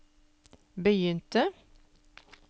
begynte